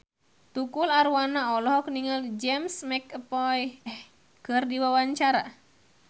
Tukul Arwana olohok ningali James McAvoy keur diwawancara